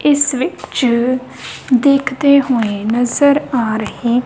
ਇਸ ਵਿੱਚ ਦੇਖਦੇ ਹੋਏ ਨਜ਼ਰ ਆ ਰਹੀ--